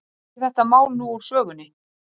Því er þetta mál nú úr sögunni.